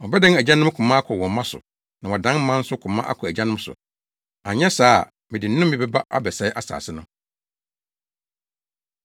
Ɔbɛdan agyanom koma akɔ wɔn mma so na wadan mma nso koma akɔ agyanom so, anyɛ saa a mede nnome bɛba abɛsɛe asase no.”